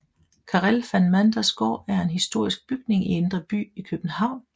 Karel van Manders Gård er en historisk bygning i Indre By i København